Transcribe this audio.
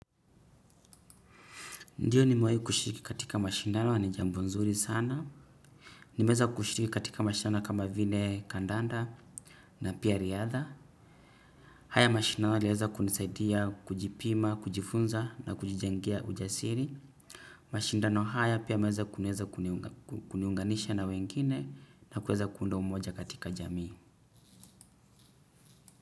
Ndiyo, kushiriki katika mashindano ni jambo zuri sana. Nimeweza kushiriki katika mashindano kama vile kandanda na pia riadha. Haya mashindano yaliweza kunisaidia kujipima, kujifunza na kujijengea ujasiri. Mashindano haya pia yameweza kuniunganisha na wengine na kuweza kuunda umoja katika jamii.